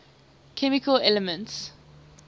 chemical elements